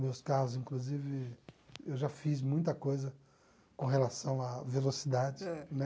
Meus carros, inclusive, eu já fiz muita coisa com relação à velocidade, né?